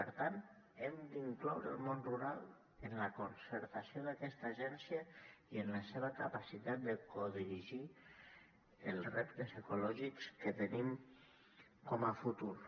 per tant hem d’incloure el món rural en la concertació d’aquesta agència i en la seva capacitat de codirigir els reptes ecològics que tenim com a futur